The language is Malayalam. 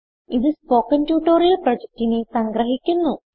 ഇതു സ്പോകെൻ ട്യൂട്ടോറിയൽ പ്രൊജക്റ്റിനെ സംഗ്രഹിക്കുന്നു